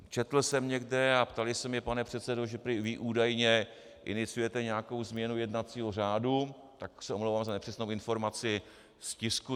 Četl jsem někde a ptali se mě - pane předsedo, že vy údajně iniciujete nějakou změnu jednacího řádu, tak se omlouvám za nepřesnou informaci z tisku.